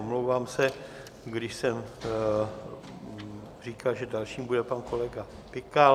Omlouvám se, když jsem říkal, že dalším bude pan kolega Pikal.